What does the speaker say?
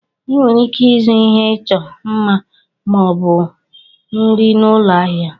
Ị nwere ike ịzụ ihe ịchọ mma ma ọ bụ nri n'ụlọ ahịa.